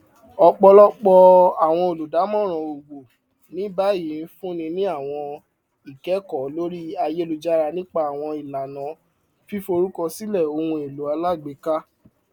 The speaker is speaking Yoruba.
ọpọlọpọ àwọn olùdámọràn owó ní báyìí ń fúnni ní àwọn ikẹkọọ lórí ayélujára nípa àwọn ìlànà fíforúkọsílẹ ohunèlò alágbèéká